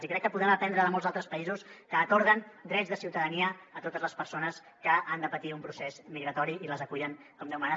i crec que podem aprendre de molts altres països que atorguen drets de ciutadania a totes les persones que han de patir un procés migratori i les acullen com déu mana